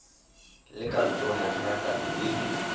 le kantoro ya pharakano e